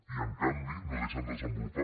i en canvi no deixen desenvolupar